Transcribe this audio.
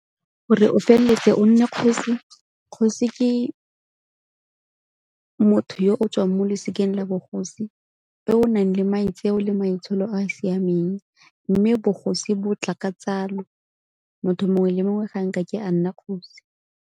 Gore o feleletse o nne kgosi, kgosi ke motho yo o tswang mo losikeng la bogosi, yo o nang le maitseo le maitsholo a a siameng. Mme bogosi bo tla ka tsalo, motho mongwe le mongwe ga a nkake a nna kgosi.